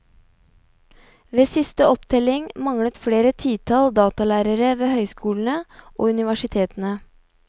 Ved siste opptelling manglet flere titall datalærere ved høyskolene og universitetene.